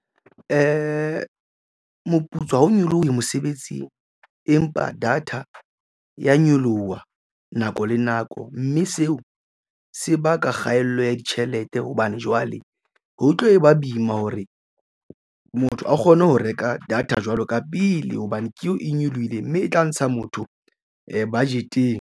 Moputso ha o nyolohe mosebetsing, empa data e ya nyoloha nako le nako mme seo se baka kgaello ya ditjhelete. Hobane jwale ho tlo ba boima hore motho a kgone ho reka data jwalo ka pele hobane ke eo e nyolohile mme e tla ntsha motho budget-eng.